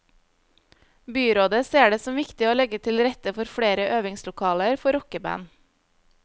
Byrådet ser det som viktig å legge til rette for flere øvingslokaler for rockeband.